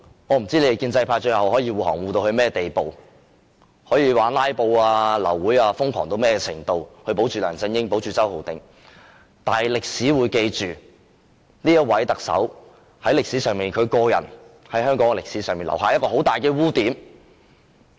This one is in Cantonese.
我不知建制派最後可以護航到甚麼地步，可以瘋狂"拉布"、"流會"到甚麼程度來保護梁振英及周浩鼎議員，最後是否成功也好，歷史都會記下這位特首在香港歷史上留下的巨大污點。